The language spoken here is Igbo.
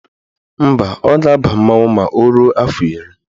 Mba, ọ ga-aba mmanwụ ma o ruo afọ iri